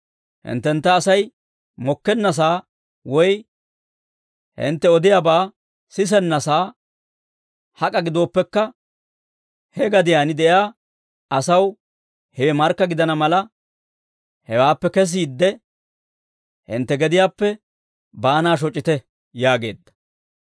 Hinttentta Asay mokkennasaa woy hintte odiyaabaa sisennasaa hak'a gidooppekka, he gadiyaan de'iyaa asaw hewe markka gidana mala, hewaappe kesiidde, hintte gediyaappe baanaa shoc'ite» yaageedda.